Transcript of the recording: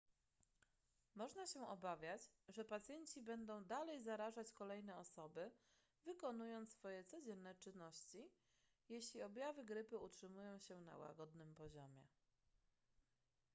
można się obawiać że pacjenci będą dalej zarażać kolejne osoby wykonując swoje codzienne czynności jeśli objawy grypy utrzymają się na łagodnym poziomie